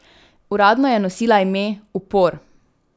Uradno je nosila ime: 'Upor!